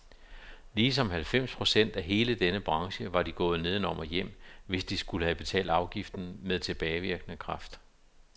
Ligesom halvfems procent af hele denne branche var de gået nedenom og hjem, hvis de skulle have betalt afgiften med tilbagevirkende kraft.